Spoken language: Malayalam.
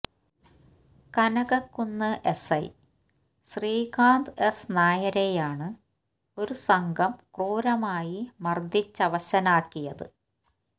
കനകക്കുന്ന് എസ്ഐ ശ്രീകാന്ത് എസ് നായരെയാണ് ഒരു സംഘം ക്രൂരമായി മര്ദ്ദിച്ചവശനാക്കിയത്